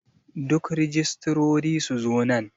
Duk rijistirori su zo nan.